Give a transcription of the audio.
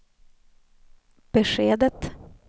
beskedet